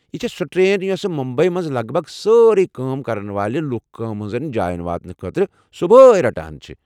یہِ چھےٚ سۄ ٹرین یۄسہٕ مُمبی منٛز لگ بھگ سٲری کٲم کرن وٲلین لوُکھ کامہِ ہٕنٛزن جاین واتنہٕ خٲطرٕ صبحٲے رٹان چھِ ۔